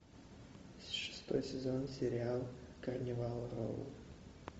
шестой сезон сериал карнивал роу